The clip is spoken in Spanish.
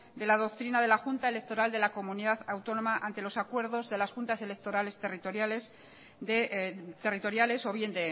de la doctrina de la junta electoral de la comunidad autónoma ante los acuerdos de las juntas electorales territoriales o bien